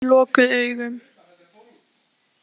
Hann sat einn eftir með lokuð augun.